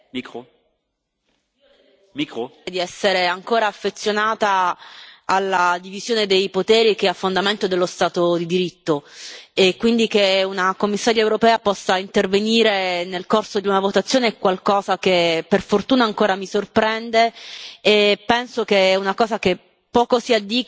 Signor Presidente, onorevoli colleghi, di essere ancora affezionata alla divisione dei poteri che sono a fondamento dello Stato di diritto e, quindi, che una commissaria europea possa intervenire nel corso di una votazione è qualcosa che, per fortuna, ancora mi sorprende e penso che sia qualcosa di poco consono